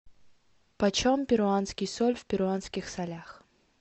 почем перуанский соль в перуанских солях